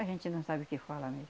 A gente não sabe o que fala mesmo.